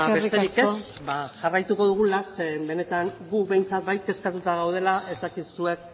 besterik ez ba jarraituko dugula zeren benetan gu behintzat bai kezkatuta gaudela ez dakit zuek